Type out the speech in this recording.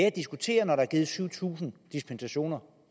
at diskutere når der er givet syv tusind dispensationer